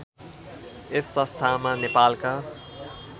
यस संस्थामा नेपालका